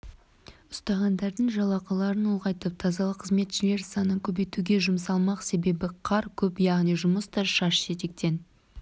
ұстағандардың жалақыларын ұлғайтып тазалық қызметшілері санын көбейтуге жұмсалмақ себебі қар көп яғни жұмыс та шаш-етектен